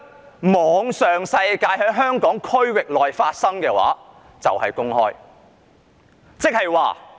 在互聯網上、在香港特區內發生的就是公開。